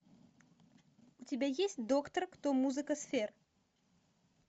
у тебя есть доктор кто музыка сфер